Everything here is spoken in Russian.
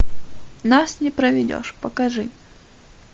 нас не проведешь покажи